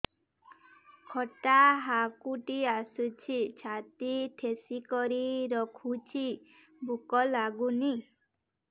ଖଟା ହାକୁଟି ଆସୁଛି ଛାତି ଠେସିକରି ରଖୁଛି ଭୁକ ଲାଗୁନି